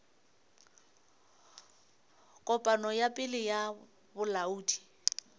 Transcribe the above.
kopano ya pele ya bolaodi